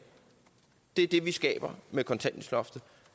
det er det vi skaber med kontanthjælpsloftet